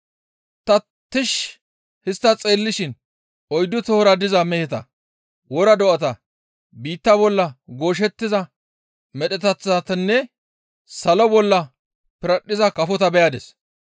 Ta tishshi histta xeellishin oyddu tohora diza meheta, wora do7ata, biitta bolla gooshettiza medheteththatanne salo bolla piradhdhiza kafota beyadis.